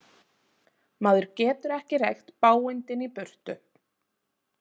Maður getur ekki reykt bágindin í burtu.